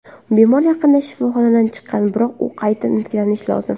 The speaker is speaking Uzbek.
Bemor yaqinda shifoxonadan chiqqan, biroq u qayta tiklanishi lozim.